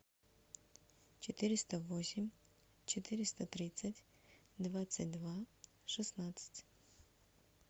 четыреста восемь четыреста тридцать двадцать два шестнадцать